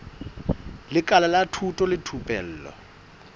lekala la thuto le thupelo